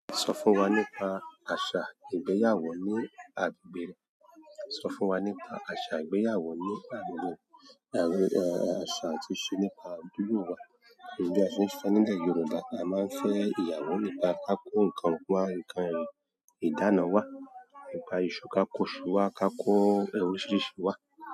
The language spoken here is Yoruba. Sọ fún wa nípa àṣà ìgbéyàwó ni agbègbè re. Sọ fún wa nípa aṣa ìgbéyàwó ni agbègbè rẹ. Àṣà tí ṣe nípa àdúgbò wa. Bí a ṣe ń fẹ́ nílẹ̀ Yorùbá, a máa ń fẹ́ ìyàwó nípa ká kó nǹkan wa ìdána wa, nípa iṣu, kákó iṣu wa, kákó oríṣiríṣi iṣu wa.